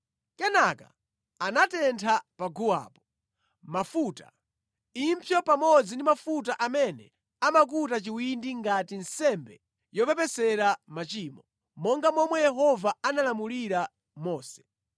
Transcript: Kenaka anatentha paguwapo, mafuta, impsyo pamodzi ndi mafuta amene amakuta chiwindi ngati nsembe yopepesera machimoyo, monga momwe Yehova analamulira Mose.